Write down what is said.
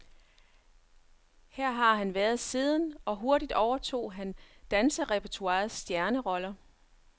Her har han været siden, og hurtigt overtog han danserepertoirets stjerneroller.